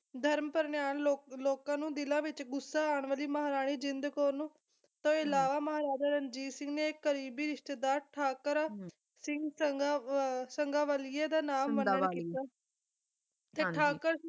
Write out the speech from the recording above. ਧਰਮ ਪ੍ਰਨਿਆਣ ਲੋ ਲੋਕਾਂ ਨੂੰ ਦਿਲਾਂ ਵਿੱਚ ਗੁੱਸਾ ਆਉਣ ਵਾਲੀ ਮਹਾਰਾਣੀ ਜਿੰਦ ਕੌਰ ਨੂੰ ਤੋਂ ਇਲਾਵਾ ਮਹਾਰਾਜਾ ਰਣਜੀਤ ਸਿੰਘ ਦੇ ਕਰੀਬੀ ਰਿਸ਼ਤੇਦਾਰ ਠਾਕਰਾ ਸਿੰਘ ਸੰਘਾਂ ਅਰ ਸੰਘਾਂਵਾਲੀਆ ਦਾ ਨਾਮ ਵਰਨਣ ਕੀਤਾ ਤੇ ਠਾਕਰ